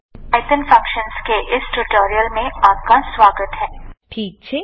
5 6 second માટે ચલાવો ઠીક છે